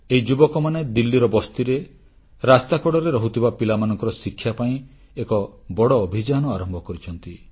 ଏହି ଯୁବକମାନେ ଦିଲ୍ଲୀର ବସ୍ତିରେ ରାସ୍ତାକଡ଼ରେ ରହୁଥିବା ପିଲାମାନଙ୍କର ଶିକ୍ଷା ପାଇଁ ଏକ ବଡ଼ ଅଭିଯାନ ଆରମ୍ଭ କରିଛନ୍ତି